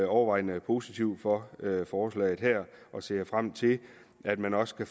overvejende positive over for lovforslaget og ser frem til at man også